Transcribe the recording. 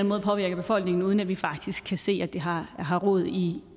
måde påvirker befolkningen uden at vi faktisk kan se at det har har rod i